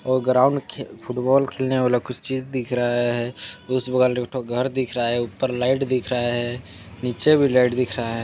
औ ग्राउंड खे फुटबॉल खेलने वाला कुछ चीज दिख रहा है उस बगल में एक ठो घर दिख रहा है ऊपर लाइट दिख रहा है नीचे भी लाइट दिख रहा--